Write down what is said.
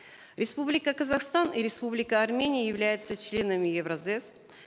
республика казахстан и республика армения являются членами евразэс